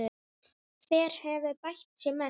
Hver hefur bætt sig mest?